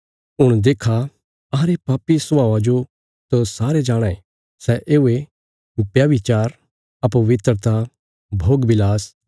हुण देक्खा अहांरे पापी स्वभावा जो त सारे जाणाँ ये सै येवे व्यभिचार अपवित्रता भोगविलास